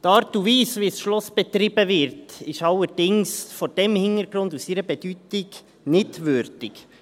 Die Art und Weise, wie das Schloss betrieben wird, ist allerdings vor diesem Hintergrund und seiner Bedeutung nicht würdig.